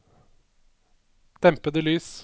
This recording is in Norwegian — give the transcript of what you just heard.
dempede lys